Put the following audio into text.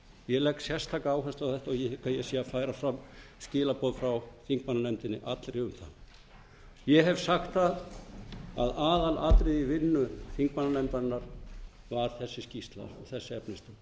ég legg sérstaka áherslu á þetta og ég hygg ég sé að færa fram skilaboð frá þingmannanefndinni allri um það ég hef sagt að aðalatriðið í vinnu þingmannanefndarinnar var þessi skýrsla þessi efnistök